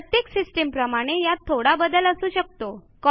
प्रत्येक सिस्टीमप्रमाणे यात थोडा बदल असू शकतो